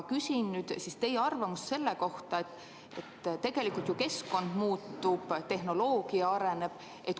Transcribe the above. Küsin teie arvamust selle kohta, et tegelikult ju keskkond muutub, tehnoloogia areneb.